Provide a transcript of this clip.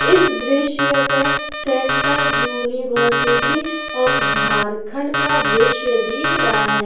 इस दृश्य पे सेंटर यूनिवर्सिटी आफ झारखंड का दृश्य दिख रहा है।